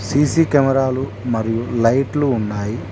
CC కెమెరాలు మరియు లైట్లు ఉన్నాయి.